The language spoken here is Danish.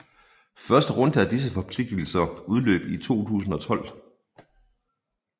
Første runde af disse forpligtelser udløb 2012